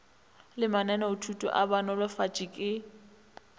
le mananeothuto a banolofatši le